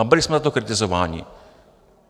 A byli jsme za to kritizováni.